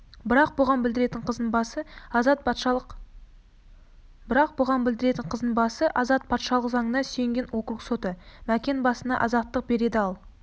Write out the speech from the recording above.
бірақ бұған білдіретіні қыздың басы азат патшалық заңына сүйенген округ соты мәкен басына азаттық береді ал